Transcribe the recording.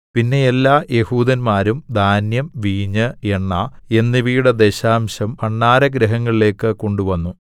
പിന്നെ എല്ലാ യെഹൂദന്മാരും ധാന്യം വീഞ്ഞ് എണ്ണ എന്നിവയുടെ ദശാംശം ഭണ്ഡാരഗൃഹങ്ങളിലേയ്ക്ക് കൊണ്ടുവന്നു